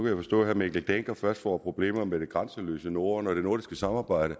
jeg forstå at herre mikkel dencker først får problemer med det grænseløse norden og det nordiske samarbejde